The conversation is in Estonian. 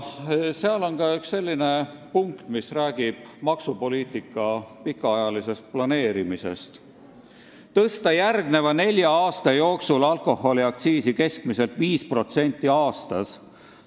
Seal on ka üks selline punkt, mis räägib maksupoliitika pikaajalisest planeerimisest: "Tõsta järgneva nelja aasta jooksul alkoholiaktsiisi keskmiselt 5% aastas.